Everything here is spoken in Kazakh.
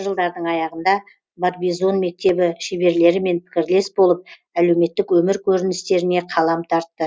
жылдардың аяғында барбизон мектебі шеберлерімен пікірлес болып әлеуметтік өмір көріністеріне қалам тартты